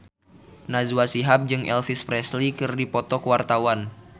Najwa Shihab jeung Elvis Presley keur dipoto ku wartawan